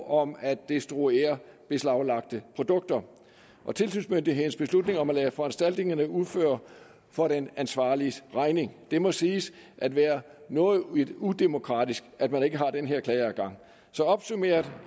om at destruere beslaglagte produkter og tilsynsmyndighedens beslutning om at lade foranstaltningerne udføre for den ansvarliges regning det må siges at være noget udemokratisk at man ikke har den her klageadgang så opsummeret